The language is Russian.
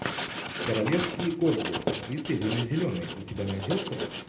королевские корги с актрисой ириной зеленой у тебя найдется